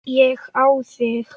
Ég á þig.